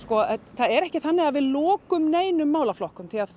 það er ekki þannig að við lokum neinum málaflokkum